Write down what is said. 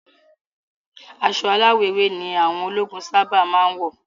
Aṣọ aláwọ̀ ewé ni àwọn ológun sáábà máa ń wọ̀